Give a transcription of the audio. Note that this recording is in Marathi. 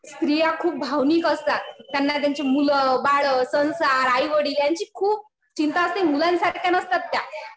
स्त्रिया खूप भावनिक असतात. त्यांना त्यांची मुलं बाळं संसार, आईवडील यांची खूप चिंता असते. मुलांसारख्या नसतात त्या.